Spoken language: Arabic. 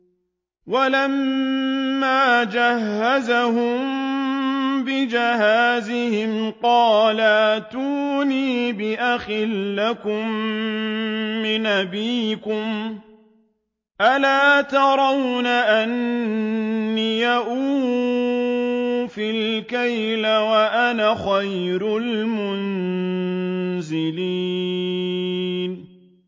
وَلَمَّا جَهَّزَهُم بِجَهَازِهِمْ قَالَ ائْتُونِي بِأَخٍ لَّكُم مِّنْ أَبِيكُمْ ۚ أَلَا تَرَوْنَ أَنِّي أُوفِي الْكَيْلَ وَأَنَا خَيْرُ الْمُنزِلِينَ